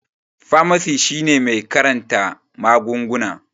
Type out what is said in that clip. Famasi shine mai karanta magunguna